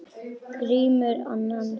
Grímur annan.